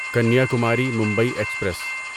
Kanyakumari Mumbai express